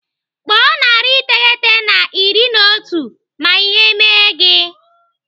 Kpọọ narị iteghete na iri na otu ma ihe mee gị.